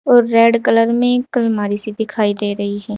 और red colour में एक अलमारी सी दिखाई दे रही है।